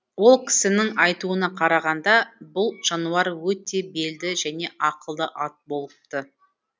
ол кісінің айтуына қарағанда бұл жануар өте белді және ақылды ат болыпты